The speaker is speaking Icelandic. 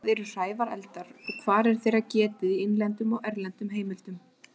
Hvað eru hrævareldar og hvar er þeirra getið í innlendum og erlendum heimildum?